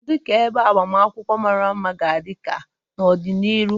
Kedu ka ebe agbamakwụkwọ mara mma ga-adị ka n'ọdịnihu?